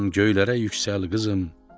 göylərə yüksəl qızım.